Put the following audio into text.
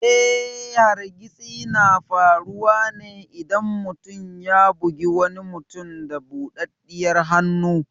Eh, hargitsi na faruwa ne idan mutum ya bugi wani mutum da budaddiyar hannu.